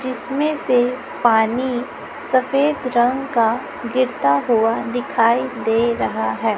जिसमें से पानी सफेद रंग का गिरता हुआ दिखाई दे रहा है।